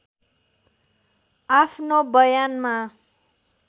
आफ्नो बयानमा